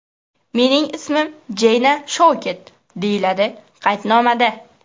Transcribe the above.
Mening ismim Jeyna Shouket”, deyiladi qaydnomada.